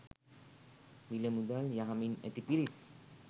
මිල මුදල් යහමින් ඇති පිරිස්